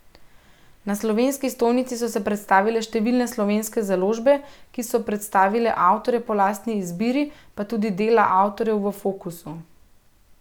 Na slovenski stojnici so se predstavile številne slovenske založbe, ki so predstavile avtorje po lastni izbiri, pa tudi dela avtorjev v fokusu.